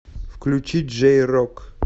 включи джей рок